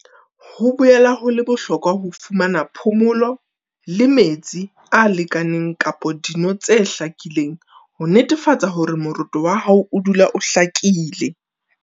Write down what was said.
Ho boela ho le bohlokwa ho fumana phomolo le metsi a lekaneng kapa dino tse hlakileng ho netefatsa hore moroto wa hao odula o hlakile.